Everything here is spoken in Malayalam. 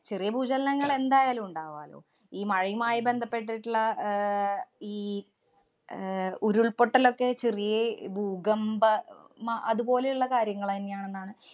ചെറിയ ഭൂചലനങ്ങള്‍ എന്തായാലും ഉണ്ടാവാലോ. ഈ മഴയുമായി ബന്ധപ്പെട്ടിട്ടുള്ള ആഹ് ഈ അഹ് ഉരുള്‍പൊട്ടലൊക്കെ ചെറ്യേ ഭൂകമ്പ അഹ് മ~ അതുപോലെയുള്ള കാര്യങ്ങളന്നെയാണെന്നാണ്